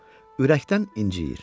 O, ürəkdən inciyir.